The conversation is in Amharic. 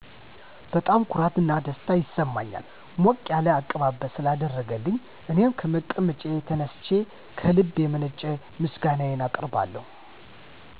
በጣም ኩራት እና ደስታ ይሰማኛል ሞቅ ያለ አቀባበል ስላደረገልኝ እኔም ከመቀመጫዬ ተነስቸ ከልብ የመነጨ ምስጋናየን አቀርብለታለሁ።